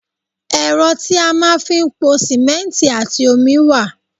Ẹ́rọ tí a máa ń fi pò simẹnti àti omi wá.